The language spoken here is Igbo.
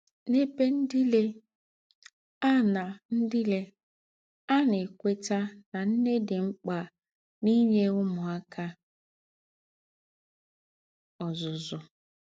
N’ēbè ńdílé, à na ńdílé, à na - ékwétà nà nnè dị mkpa n’ínye ǔmūáka ọ́zụ́zụ́.